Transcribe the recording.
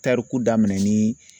Tariku daminɛ ni